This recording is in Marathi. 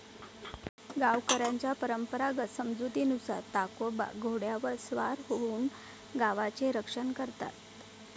गावकऱ्यांचा परंपरागत समजुतीनुसार ताकोबा घोड्यावर स्वार होऊन गावाचे रक्षण करतात